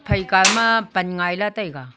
phai kao ma pan ngai lah taega.